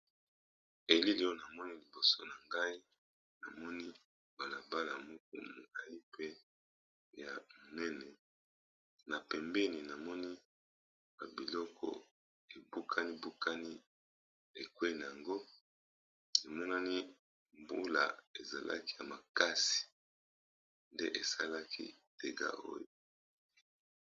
Elili oyo na moni liboso na ngai na moni balabala moko ya monene, na pembeni navmoni ba biloko e bukaninbukani ekweyi, na yango, evmonani mbula e zalaki ya makasi nde e salaki dégât oyo .